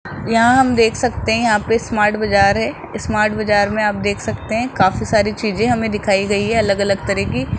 यहां हम देख सकते है यहां पे स्मार्ट बाजार है स्मार्ट बाजार में आप देख सकते है काफी सारी चीजे हमें दिखाई गई है अलग अलग तरह की --